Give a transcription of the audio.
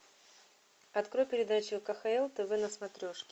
открой передачу кхл тв на смотрешке